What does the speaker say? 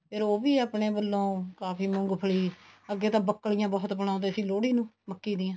ਫ਼ੇਰ ਉਹ ਵੀ ਆਪਣੇ ਵੱਲੋਂ ਕਾਫੀ ਮੂੰਗਫਲੀ ਅੱਗੇ ਤਾਂ ਬੱਕਲੀਆਂ ਬਹੁਤ ਬਣਾਉਂਦੇ ਸੀ ਲੋਹੜੀ ਨੂੰ ਮੱਕੀ ਦੀਆਂ